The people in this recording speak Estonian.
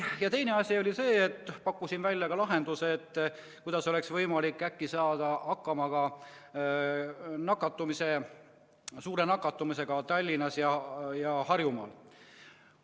Ja teine asi oli see, et ma pakkusin välja lahenduse, kuidas oleks ehk võimalik saada hakkama ka suure nakatumisega Tallinnas ja mujal Harjumaal.